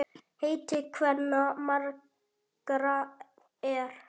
Heiti kvenna margra er.